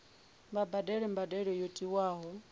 vha badele mbadelo yo tiwaho